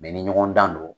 ni ɲɔgɔn dan don